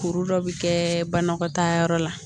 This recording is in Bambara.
Kuru dɔ bɛ kɛ banakɔtaa yɔrɔ la